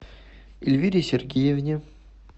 эльвире сергеевне